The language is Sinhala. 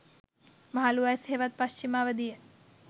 මහලු වයස හෙවත් පශ්චිම අවධිය